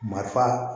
Marifa